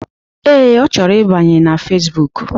Ee, Ọ chọrọ ịbanye na Fesbụụk